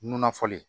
Nunna fɔlen